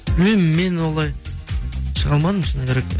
білмеймін мен олай шыға алмадым шыны керек